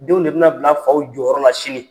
Denw de bi na bila faw jɔyɔrɔ la sini.